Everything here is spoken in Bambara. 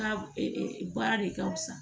Ka baara de ka fisa